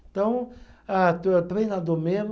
Então, ah treinador mesmo.